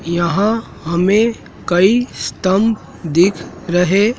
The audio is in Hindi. यहां हमे कई स्तंभ दिख रहे--